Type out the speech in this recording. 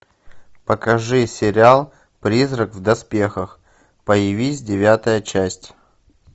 покажи сериал призрак в доспехах появись девятая часть